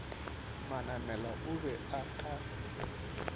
manamela o be a ka